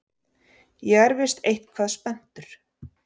Ég er víst eitthvað spenntur.